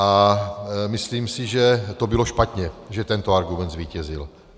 A myslím si, že to bylo špatně, že tento argument zvítězil.